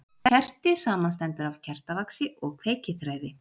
Kerti samanstendur af kertavaxi og kveikiþræði.